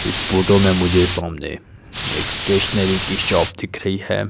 इस फोटो में मुझे सामने एक स्टेशनरी की शॉप दिख रही हैं।